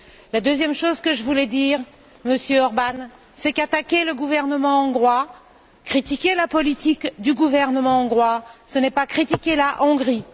La deuxième chose que je voulais dire, Monsieur Orbán, c'est qu'attaquer le gouvernement hongrois, critiquer la politique du gouvernement hongrois, ce n'est pas critiquer la Hongrie